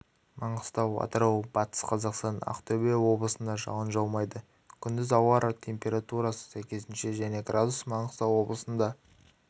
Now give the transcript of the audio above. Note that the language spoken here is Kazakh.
маңғыстау атырау батыс қазақстан ақтөбе облысында жауын жаумайды күндіз ауа температурасы сәйкесінше және градус маңғыстау облысында